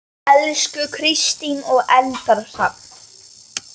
Elsku Kristín og Eldar Hrafn.